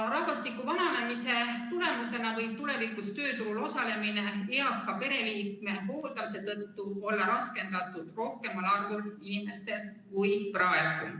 " Rahvastiku vananemise tagajärjel võib tulevikus tööturul osalemine eaka pereliikme hooldamise tõttu olla raskendatud rohkemal arvul inimestel kui praegu.